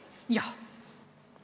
Jah.